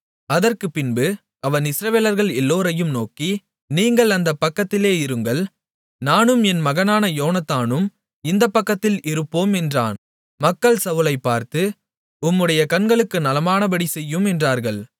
அதற்குப்பின்பு அவன் இஸ்ரவேலர்கள் எல்லோரையும் நோக்கி நீங்கள் அந்தப்பக்கத்திலே இருங்கள் நானும் என் மகனான யோனத்தானும் இந்தப்பக்கத்தில் இருப்போம் என்றான் மக்கள் சவுலைப்பார்த்து உம்முடைய கண்களுக்கு நலமானபடி செய்யும் என்றார்கள்